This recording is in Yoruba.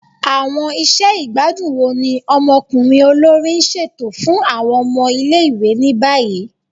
Awọn iṣẹ igbadun wo ni ọmọkunrin olori n ṣeto fun awọn ọmọ ile-iwe ni bayi?